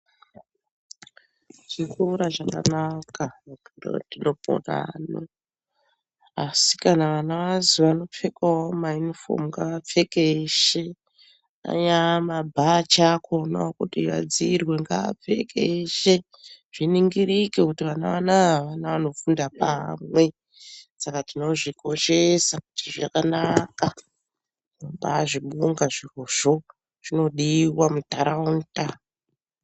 Chikora chakanaka ndopondanu , asi kana vana vazopfekawo mayunifomu ngaapfeke eshe angava mabhachi achona ekuti vadziirwe ngapfeke eshe zviningirike kuti vana vanaa vana vanofunda pamwe saka tinozvikoshesa kuti zvakanaka tinobazvibonga zvirozvo zvinodiwa munharaunda